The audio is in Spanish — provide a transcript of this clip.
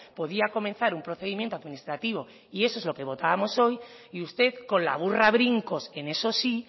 podía comenzar un procedimiento administrativo y eso es lo que votábamos hoy y usted con la burra a brincos en eso sí